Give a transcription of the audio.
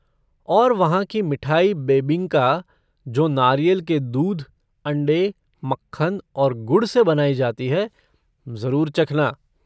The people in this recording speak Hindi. और वहाँ की मिठाई बेबिंका, जो नारियल के दूध, अंडे, मक्खन और गुड़ से बनाई जाती है, जरुर चखना।